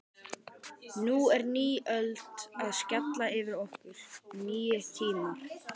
Nú er ný öld að skella yfir okkur, nýir tímar.